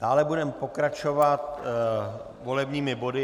Dále budeme pokračovat volebními body.